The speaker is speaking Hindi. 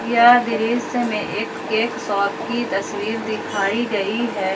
यह दृश्य में एक केक शॉप की तस्वीर दिखाई गई हैं।